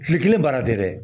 Kile kelen baara tɛ dɛ